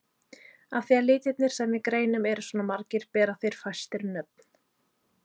Af því að litirnir sem við greinum eru svona margir bera þeir fæstir nöfn.